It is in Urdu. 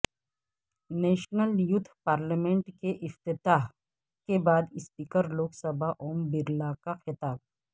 نیشنل یوتھ پارلیمنٹ کے افتتاح کے بعد اسپیکر لوک سبھا اوم برلاکا خطاب